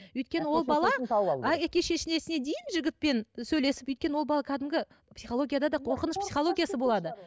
өйткені ол бала әке шешесіне дейін жігітпен сөйлесіп өйткені ол бала кәдімгі психологияда да қорқыныш психологиясы болады